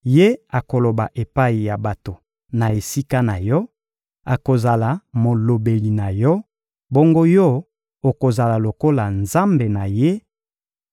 Ye akoloba epai ya bato na esika na yo, akozala molobeli na yo; bongo yo okozala lokola nzambe na ye.